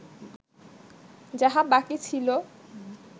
যাহা বাকি ছিল